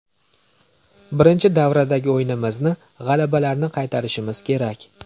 Birinchi davradagi o‘yinimizni, g‘alabalarni qaytarishimiz kerak.